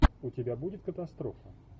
у тебя будет катастрофа